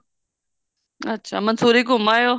ਅੱਛਾ ਮੰਸੂਰੀ ਘੁੰਮ ਆਏ ਓ